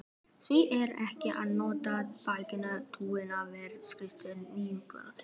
Því er ekki að neita: bækistöð babúítanna var fyrirtaks íverustaður.